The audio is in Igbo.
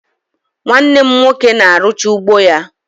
Nwanne m nwoke na-arụcha ugbo anyị